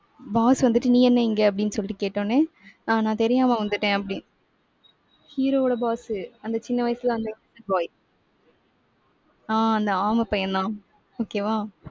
boss வந்துட்டு, நீ என்ன இங்க? அப்படின்னு சொல்லிட்டு கேட்ட உடனே ஆஹ் நான் தெரியாம வந்துட்டேன் அப்படின்~ hero வோட boss உ அந்த சின்ன வயசுல அந்த innocent boy ஆஹ் அந்த ஆமை பையன்தான். okay வா.